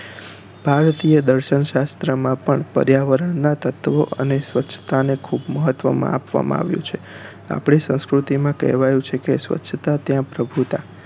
ભારતીય દર્શન શાસ્ત્ર માં પણ પર્યાવરણ નાં તત્વો અને સ્વચ્છતા ને ખુબ મહત્વ આપવામાં આવ્યું છે આપણી સંસ્કૃતિ માં કહેવાયું છે કે સ્વચ્છતા ત્યાં પ્રભુતા